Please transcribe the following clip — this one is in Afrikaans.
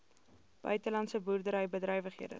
buitelandse boerdery bedrywighede